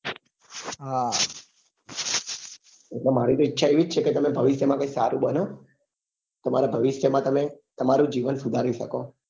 બ એટલે મારી પણ ઈચ્છા એવી જ છે કે તમે ભવિષ્ય માં કઈ સારું બનો તમારા ભવિષ્ય માં તમેં તમારું જીવન સુધારી શકો